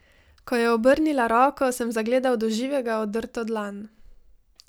Ko je obrnila roko, sem zagledal do živega odrto dlan.